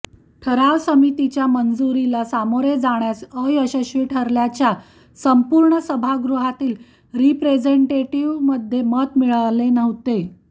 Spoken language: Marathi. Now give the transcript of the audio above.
ठराव समितीच्या मंजुरीला सामोरे जाण्यास अयशस्वी ठरल्याच्या संपूर्ण सभागृहातील रिप्रेझेंटेटिव्हमध्ये मत मिळाले नव्हते